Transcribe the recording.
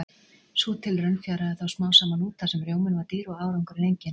Sú tilraun fjaraði þó smám saman út þar sem rjóminn var dýr og árangurinn enginn.